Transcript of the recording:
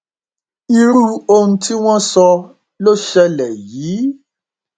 irú ohun tí wọn sọ ló ṣẹlẹ yìí